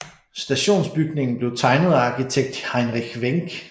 Stationsbygningen blev tegnet af arkitekt Heinrich Wenck